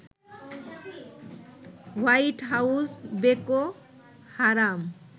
white House Boko হারাম